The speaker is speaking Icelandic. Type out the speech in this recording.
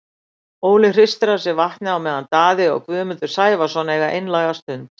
Óli hristir af sér vatnið á meðan Daði og Guðmundur Sævarsson eiga einlæga stund.